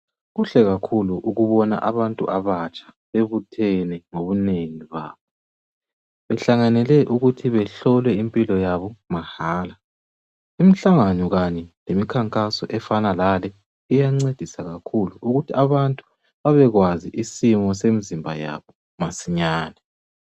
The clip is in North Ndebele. Kuhle kakhulu ukubona abantu abatsha bebuthene ngobunengi babo behlanganele ukuthi behlolwe impilo yabo mahala imihlangano leminkankaso efana layonale iyangcedisa kakhulu ukuthi abantu bebekwazi isimo semzimba yabo masinyane